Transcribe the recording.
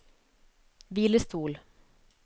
hvilestol